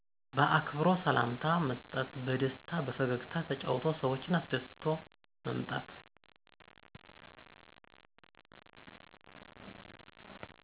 በአክብሮ ሰላምታ መሰጠት በደስታ በፈገግታ ተጫውቶ ሰዎችን አሰደስቶ መምጣት።